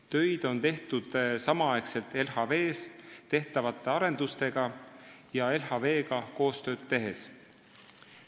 Töid on tehtud LHV arendustega samal ajal ja LHV-ga koostööd tehes.